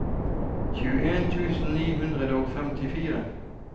tjueen tusen ni hundre og femtifire